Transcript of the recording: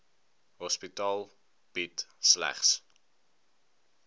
hospitaal bied slegs